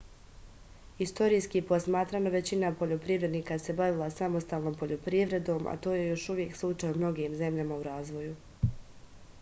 istorijski posmatrano većina poljoprivrednika se bavila samostalnom poljoprivredom a to je još uvek slučaj u mnogim zemljama u razvoju